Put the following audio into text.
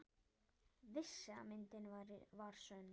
Vissi að myndin var sönn.